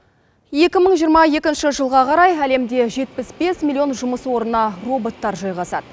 екі мың жиырма екінші жылға қарай әлемде жетпіс бес миллион жұмыс орны роботтар жайғасады